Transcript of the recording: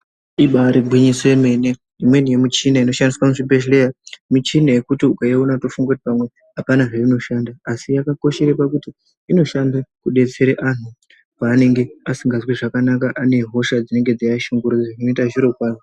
Ibairi gwinyiso yemene imweni ye michini inoshandiswa mu zvibhedhlera michina yekuti ukaiona unoto funga kuti pamwe apana zvaino shanda asi yaka koshere pakuti inoshanda ku detsera anhu pa anenge asinganzwi zvakanaka ane hosha dzinenge dzei ashungurudza inoita zviro kwazvo.